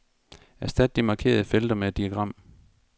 Erstat de markerede felter med diagram.